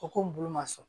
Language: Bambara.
O ko n bolo ma sɔn